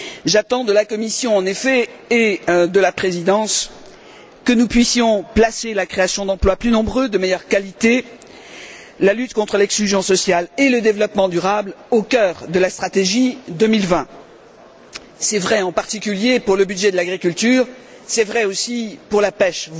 J'attends de la Commission, en effet, et de la Présidence, que nous puissions placer la création d'emplois plus nombreux et de meilleure qualité, ainsi que la lutte contre l'exclusion sociale et le développement durable, au cœur de la stratégie 2020. C'est vrai en particulier pour le budget de l'agriculture, c'est vrai aussi pour la pêche.